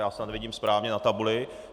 Já snad vidím správně na tabuli.